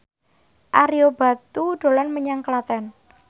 Ario Batu dolan menyang Klaten